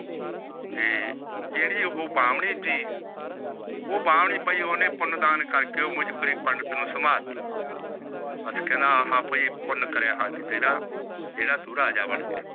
ਜਿਹੜੀ ਉਹ ਬਾਹਮਣੀ ਸੀ ਉਹ ਬਾਹਮਣੀ ਓਹਨੇ ਪੁਨ ਦਾਨ ਕਰਕੇ ਉਹ ਪੰਡਿਤ ਨੂੰ ਸਮਲਾਹ ਦਿੱਤੀ। ਬੱਸ ਕੇਹੜਾ ਬਾਈ ਇਹ ਪੁਨ ਕਰਿਆ ਤੂੰ ਬਥੇਰਾ ਜਿਹੜਾ ਤੂੰ ਰਾਜਾ ਬਣ ਗਿਆ।